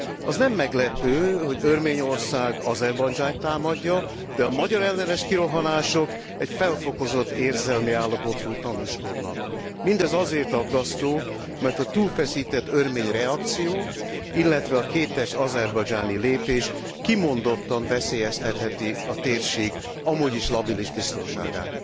Az nem meglepő, hogy Örményország Azerbajdzsánt támadja, de a magyarellenes kirohanások felfokozott érzelmi állapotról tanúskodnak. Mindez azért aggasztó, mert a túlfeszített örmény reakció, illetve a kétes azerbajdzsáni lépés kimondottan veszélyeztetheti a térség amúgy is labilis biztonságát.